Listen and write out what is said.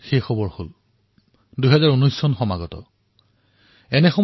স্বাভাৱিকতে এনে সময়ত এনেকুৱা কথাৰ চৰ্চা কৰা হয় অনাগত বৰ্ষৰ সংকল্পৰ বিষয়ে চৰ্চা কৰা হয়